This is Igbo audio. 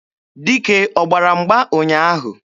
Dike ọ gbara mgba ụnyaahụ?